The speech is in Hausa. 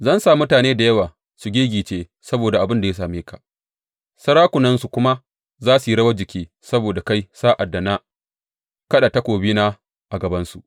Zan sa mutane da yawa su giggice saboda abin da ya same ka, sarakunansu kuma za su yi rawar jiki saboda kai sa’ad da na kaɗa takobina a gabansu.